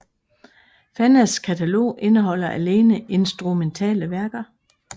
Fannas katalog indeholder alene instrumentale værker